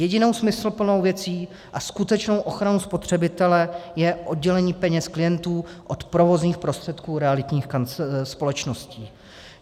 Jedinou smysluplnou věcí a skutečnou ochranou spotřebitele je oddělení peněz klientů od provozních prostředků realitních společností.